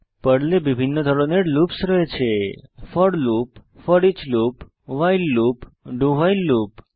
পর্লে বিভিন্ন ধরনের লুপস রয়েছে for loop foreach loop while loop এবং do ভাইল লুপ